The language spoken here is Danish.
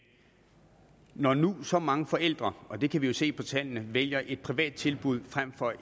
når nu så mange forældre og det kan vi se på tallene vælger et privat tilbud frem for